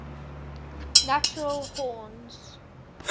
natural horns